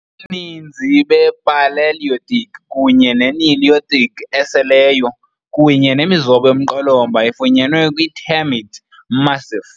Ubuninzi bePalaeolithic kunye ne-Neolithic eseleyo, kunye nemizobo yomqolomba, ifunyenwe kwi-Termit Massif.